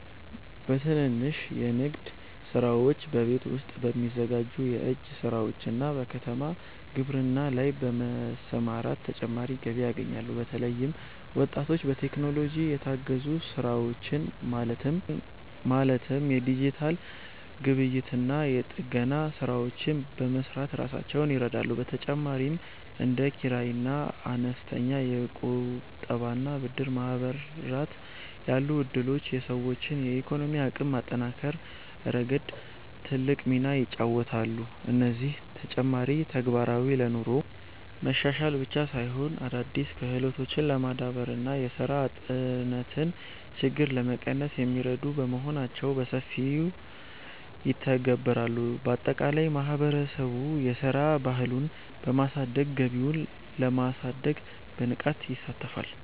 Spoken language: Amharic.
በትንንሽ የንግድ ስራዎች፣ በቤት ውስጥ በሚዘጋጁ የእጅ ስራዎችና በከተማ ግብርና ላይ በመሰማራት ተጨማሪ ገቢ ያገኛሉ። በተለይም ወጣቶች በቴክኖሎጂ የታገዙ ስራዎችን ማለትም የዲጂታል ግብይትና የጥገና ስራዎችን በመስራት ራሳቸውን ይረዳሉ። በተጨማሪም እንደ ኪራይና አነስተኛ የቁጠባና ብድር ማህበራት ያሉ እድሎች የሰዎችን የኢኮኖሚ አቅም በማጠናከር ረገድ ትልቅ ሚና ይጫወታሉ። እነዚህ ተጨማሪ ተግባራት ለኑሮ መሻሻል ብቻ ሳይሆን፣ አዳዲስ ክህሎቶችን ለማዳበርና የስራ አጥነትን ችግር ለመቀነስ የሚረዱ በመሆናቸው በሰፊው ይተገበራሉ። ባጠቃላይ ማህበረሰቡ የስራ ባህሉን በማሳደግ ገቢውን ለማሳደግ በንቃት ይሳተፋል።